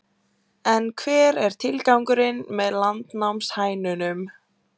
En hver er tilgangurinn með landnámshænunum?